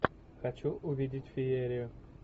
хочу увидеть феерию